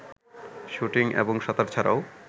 shooting এবং সাতার ছাড়াও